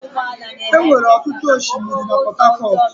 Enwere ọtụtụ osimiri na Port Harcourt.